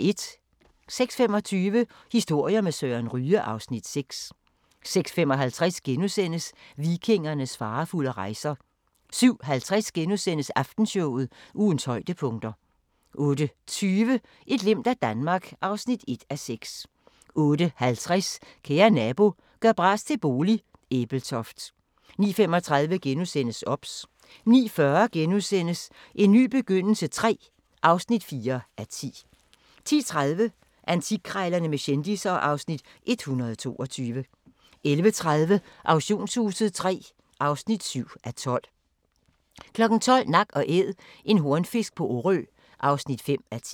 06:25: Historier med Søren Ryge (Afs. 6) 06:55: Vikingernes farefulde rejser * 07:50: Aftenshowet – Ugens højdepunkter * 08:20: Et glimt af Danmark (1:6) 08:50: Kære nabo – gør bras til bolig – Ebeltoft 09:35: OBS * 09:40: En ny begyndelse III (4:10)* 10:30: Antikkrejlerne med kendisser (Afs. 122) 11:30: Auktionshuset III (7:12) 12:00: Nak & Æd – en hornfisk på Orø (5:10)